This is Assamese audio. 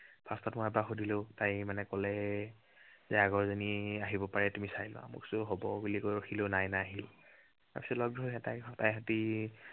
first ত মই এবাৰ সুধিলো, তাই মানে কলে, যে আগৰজনী আহিব পাৰে তুমি চাই লোৱা। মই কৈছো হব বুলি কৈ ৰখিলো, নাই নাহিল। তাৰ পিছত লগ ধৰিলে তাই।